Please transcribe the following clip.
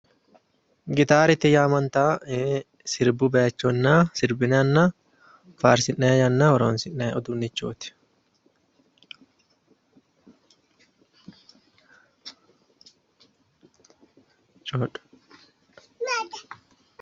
Gitaarete yaamantawo sirbu bayichonna sirbunanna faarsi'nayi yannara horoonsi'nayi uduunnichooti.